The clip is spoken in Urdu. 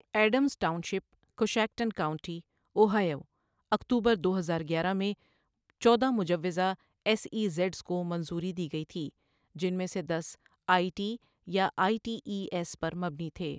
ا يڈمز Township, Coshocton County, Ohio اکتوبر دو ہزار گیارہ میں، چودہ مجوزہ ایس ای زیڈس کو منظوری دی گئی تھی، جن میں سے دس آئی ٹی یا آئی ٹی ای ایس پر مبنی تھے۔